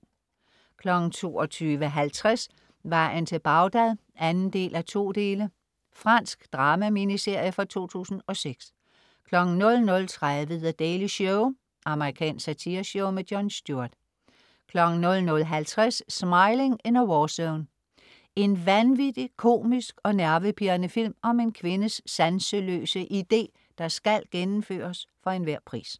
22.50 Vejen til Bagdad 2:2 Fransk drama-miniserie fra 2006 00.30 The Daily Show. amerikansk satireshow. Jon Stewart 00.50 Smiling in a warzone. En vanvittig, komisk og nervepirrende film om en kvindes sanseløse ide, der skal gennemføres for enhver pris